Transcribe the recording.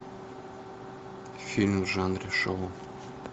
фильм в жанре шоу